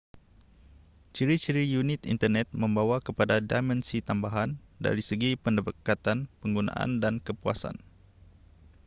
ciri-ciri unik internet membawa kepada dimensi tambahan dari segi pendekatan penggunaan dan kepuasan